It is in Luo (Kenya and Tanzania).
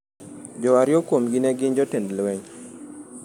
Jo ariyo kuomgi ne gin jotend lweny.